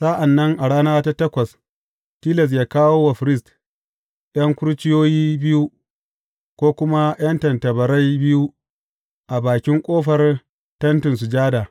Sa’an nan a rana ta takwas, tilas yă kawo wa firist ’yan kurciyoyi biyu, ko kuma ’yan tattabarai biyu a bakin ƙofar Tentin Sujada.